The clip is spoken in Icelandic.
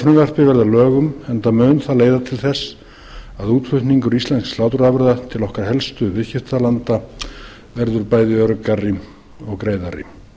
að lögum enda mun það leiða til þess að útflutningur íslenskra sláturafurða til okkar helstu viðskiptalanda verður bæði öruggari og greiðari